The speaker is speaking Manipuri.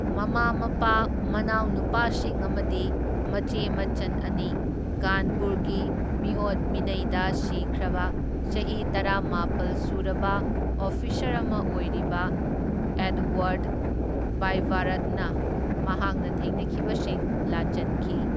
ꯃꯃꯥ ꯃꯄꯥ, ꯃꯅꯥꯎ ꯅꯨꯄꯥꯁꯤꯡ ꯑꯃꯗꯤ ꯃꯆꯦ ꯃꯆꯟ ꯑꯅꯤ ꯀꯥꯟꯄꯨꯔꯒꯤ ꯃꯤꯑꯣꯠ ꯃꯤꯅꯩꯗ ꯁꯤꯈ꯭ꯔꯕ ꯆꯍꯤ ꯇꯔꯥꯃꯥꯄꯜ ꯁꯨꯔꯕ ꯑꯣꯐꯤꯁꯔ ꯑꯃ ꯑꯣꯏꯔꯤꯕ ꯑꯦꯗꯋꯔꯗ ꯚꯥꯏꯕꯥꯔꯠꯅ ꯃꯍꯥꯛꯅ ꯊꯦꯡꯅꯈꯤꯕꯁꯤꯡ ꯂꯥꯆꯟꯈꯤ꯫